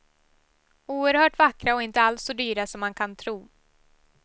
Oerhört vackra och inte alls så dyra som man kan tro.